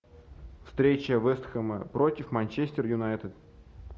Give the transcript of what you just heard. встреча вест хэм против манчестер юнайтед